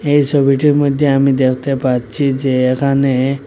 এই সবিটির মইধ্যে আমি দেখতে পাচ্ছি যে এখানে--